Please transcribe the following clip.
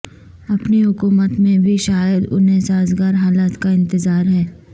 اپنی حکومت میں بھی شائد انہیں سازگار حالات کا انتظار ہے